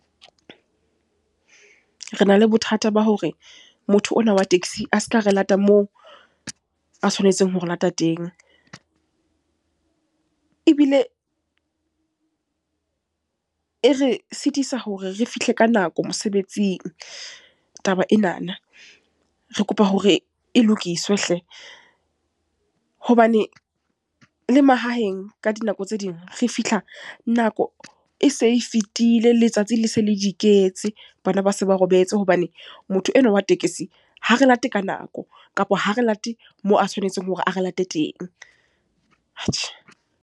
Re na le bothata ba hore, motho ona wa taxi a se ka e lata moo a tshwanetseng ho re lata teng. Ebile, e re sitisa hore re fihle ka nako mosebetsing, taba enana. Re kopa hore, e lokiswe hle. Hobane le mahaheng, ka dinako tse ding, re fihla nako e se e fetile, letsatsi le se le di iketse, bana ba se ba robetse. Hobane motho enwa wa tekesi, ha re late ka nako kapa ha re late moo a tshwanetseng hore a re late teng. Atjhe.